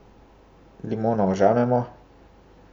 Limono ožamemo.